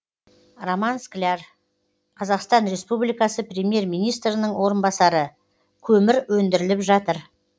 роман скляр қазақстан республикасы премьер министрінің орынбасары көмір өндіріліп жатыр